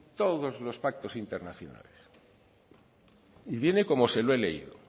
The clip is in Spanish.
todos los pactos internacionales y viene como se lo he leído